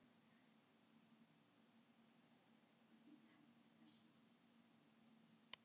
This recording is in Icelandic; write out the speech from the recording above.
Þá fokið er í eitt skjól er ófennt í annað.